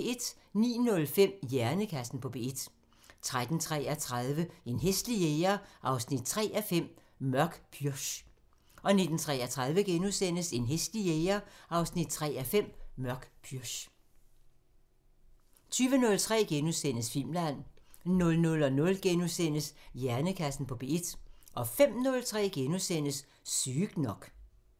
09:05: Hjernekassen på P1 13:33: En hæslig jæger 3:5 – Mørk pürch 19:33: En hæslig jæger 3:5 – Mørk pürch * 20:03: Filmland * 00:05: Hjernekassen på P1 * 05:03: Sygt nok *